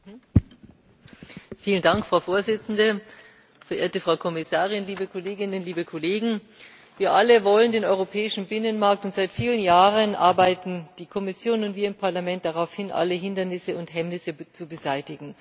Frau Präsidentin, verehrte Frau Kommissarin, liebe Kolleginnen, liebe Kollegen! Wir alle wollen den europäischen Binnenmarkt, und seit vielen Jahren arbeiten die Kommission und wir im Parlament darauf hin, alle Hindernisse und Hemmnisse zu beseitigen.